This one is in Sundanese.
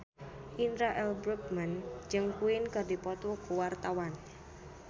Indra L. Bruggman jeung Queen keur dipoto ku wartawan